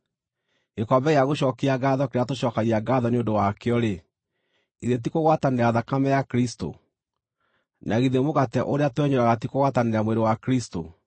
Gĩkombe gĩa gũcookia ngaatho kĩrĩa tũcookagia ngaatho nĩ ũndũ wakĩo-rĩ, githĩ ti kũgwatanĩra thakame ya Kristũ? Na githĩ mũgate ũrĩa twenyũraga ti kũgwatanĩra mwĩrĩ wa Kristũ?